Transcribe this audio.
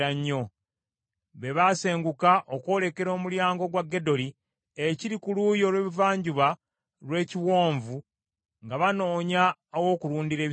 Be basenguka okwolekera omulyango gwa Gedoli ekiri ku luuyi olw’ebuvanjuba lw’ekiwonvu, nga banoonya aw’okulundira ebisibo byabwe.